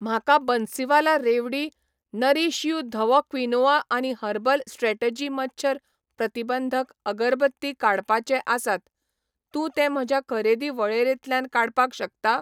म्हाका बन्सीवाला रेवडी, नरीश यू धवो क्विनोआ आनी हर्बल स्ट्रॅटेजी मच्छर प्रतिबंधक अगरबत्ती काडपाचे आसात, तूं ते म्हज्या खरेदी वळेरेंतल्यान काडपाक शकता?